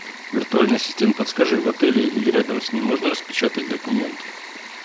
виртуальный ассистент подскажи в отеле или рядом с ним можно распечатать документы